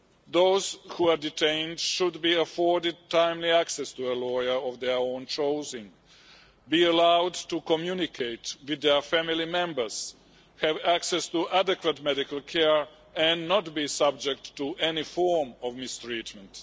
Those who are detained should be afforded timely access to a lawyer of their own choosing, be allowed to communicate with their family members, have access to adequate medical care and not be subject to any form of mistreatment.